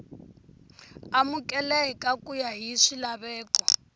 amukeleka ku ya hi swilaveko